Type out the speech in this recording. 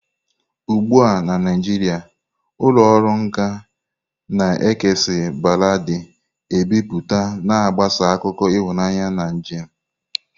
Ugbu a na Naijiria, ụlọ ọrụ nka na-ekesa baladi ebipụta, na-agbasa akụkọ ịhụnanya na njem.